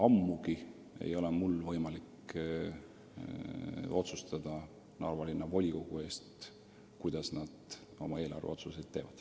Ammugi ei ole mul võimalik otsustada Narva Linnavolikogu eest, kuidas eelarveotsuseid langetada.